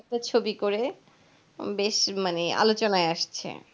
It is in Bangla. ছবি করে বেশ মানে আলোচনায় আসছে,